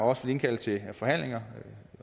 også vil indkalde til forhandlinger